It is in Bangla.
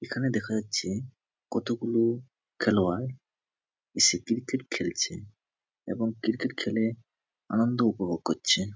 এখানে দেখা যাচ্ছে কতগুলো খেলোয়াড় এসে ক্রিকেট খেলছে এবং ক্রিকেট খেলে আনন্দ উপভোগ করছে।